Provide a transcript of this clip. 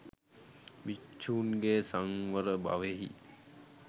භික්‍ෂූන්ගේ සංවර බවෙහි